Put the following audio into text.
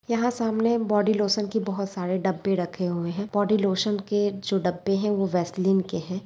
यहां सामने body lotion के बोहोत डब्बे रखे हुए है बॉडी लोशन के जो डब्बे है वो वेसलीन के है।